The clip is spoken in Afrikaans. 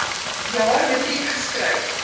jaar matriek geskryf